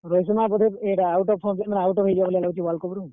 ହେଇଯିବା ବୋଧେ WorldCup ରୁ।